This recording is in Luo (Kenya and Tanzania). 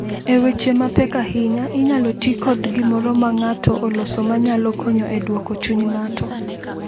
E weche mapek ahinya, inyalo ti kod gimoro ma ng’ato oloso ma nyalo konyo e dwoko chuny ng’ato.